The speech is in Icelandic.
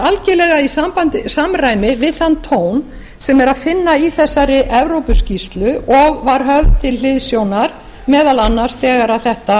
er að finna í samræmi við þann tón sem er að finna í þessari evrópuskýrslu og var höfð til hliðsjónar meðal annars þegar þetta